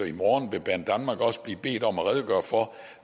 i morgen vil banedanmark også blive bedt om at redegøre for